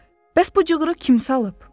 Bəs bu cığırı kim salıb?